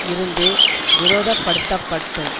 இருந்து விரோதப்படுத்தப்பட்டும்